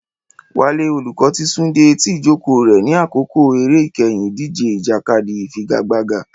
Wale, olùkọ́, ti sún dé etí ìjókòó rẹ̀ ní àkókò eré ìkẹyìn ìdíje ìjàkadì ìfigagbága.